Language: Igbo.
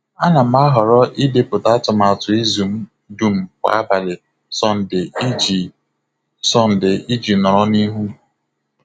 A na m ahọrọ ịdepụta atụmatụ izu m dum kwa abalị Sọnde iji Sọnde iji nọrọ n'ihu.